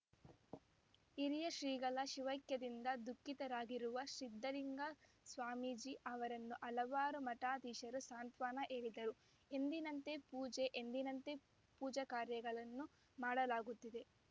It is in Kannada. ಹಿರಿಯ ಶ್ರೀಗಳ ಶಿವೈಕ್ಯದಿಂದ ದುಃಖಿತರಾಗಿರುವ ಸಿದ್ಧಲಿಂಗ ಸ್ವಾಮೀಜಿ ಅವರನ್ನು ಹಲವಾರು ಮಠಾಧೀಶರು ಸಾಂತ್ವನ ಹೇಳಿದರು ಎಂದಿನಂತೆ ಪೂಜೆ ಎಂದಿನಂತೆ ಪೂಜಾಕಾರ್ಯಗಳನ್ನು ಮಾಡಲಾಗುತ್ತಿದೆ